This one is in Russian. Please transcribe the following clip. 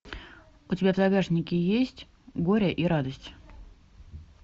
у тебя в загашнике есть горе и радость